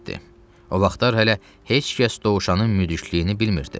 O vaxtlar hələ heç kəs dovşanın müdüklüyünü bilmirdi.